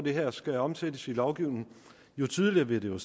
det her skal omsættes i lovgivning jo tydeligere vil det jo